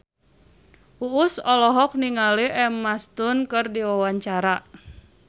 Uus olohok ningali Emma Stone keur diwawancara